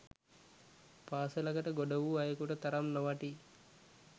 පාසලකට ගොඩ වූ අයෙකුට තරම් නොවටී